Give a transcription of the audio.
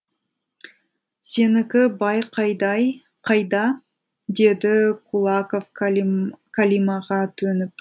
сенікі бай қайда деді кулаков қалимаға төніп